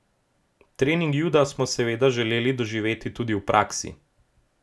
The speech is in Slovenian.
Trening juda smo seveda želeli doživeti tudi v praksi.